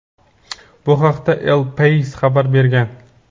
Bu haqda "El Pais" xabar bergan.